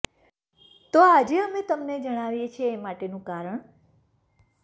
તો આજે અમે તમને જણાવીએ છીએ એ માટેનું કારણ